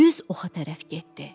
Düz oxa tərəf getdi.